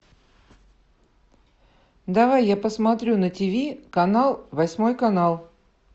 давай я посмотрю на ти ви канал восьмой канал